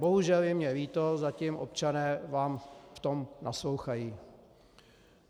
Bohužel je mi líto, zatím občané vám v tom naslouchají.